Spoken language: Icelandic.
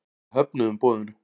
Við höfnuðum boðinu.